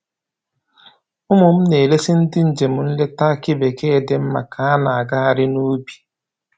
Ụmụ m na-eresi ndị njem nleta akị bekee dị mma ka a na-agagharị n'ubi